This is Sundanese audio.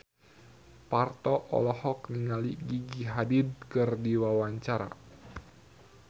Parto olohok ningali Gigi Hadid keur diwawancara